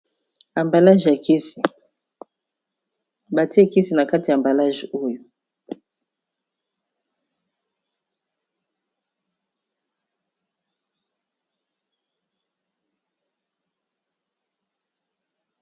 Amballage ya kisi , ba titié e kisi na kati ya amballage oyo .